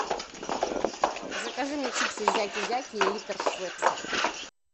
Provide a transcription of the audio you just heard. закажи мне чипсы зяки зяки и литр швепса